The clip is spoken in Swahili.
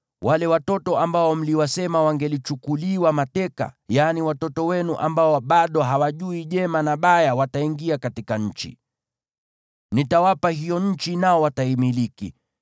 Wale watoto ambao mliwasema wangelichukuliwa mateka, yaani watoto wenu ambao bado hawajui jema na baya, wataingia katika nchi. Nitawapa hiyo nchi, nao wataimiliki.